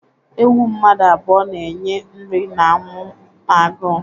Ewu mmadụ abụọ na-enye nri na-anwụ n'agụụ·